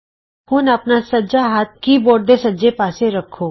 ਹੁਣ ਆਪਣਾ ਸੱਜਾ ਹੱਥ ਕੀ ਬੋਰਡ ਦੇ ਸੱਜੇ ਪਾਸੇ ਰੱਖੋ